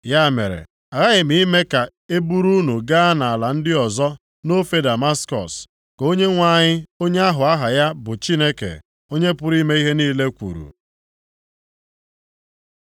Ya mere, aghaghị m ime ka e buru unu gaa nʼala ndị ọzọ, nʼofe Damaskọs,” ka Onyenwe anyị, Onye ahụ aha ya bụ Chineke, Onye pụrụ ime ihe niile kwuru.